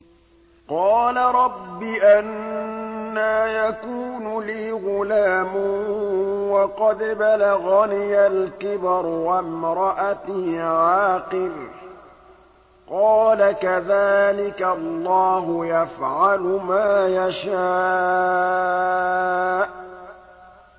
قَالَ رَبِّ أَنَّىٰ يَكُونُ لِي غُلَامٌ وَقَدْ بَلَغَنِيَ الْكِبَرُ وَامْرَأَتِي عَاقِرٌ ۖ قَالَ كَذَٰلِكَ اللَّهُ يَفْعَلُ مَا يَشَاءُ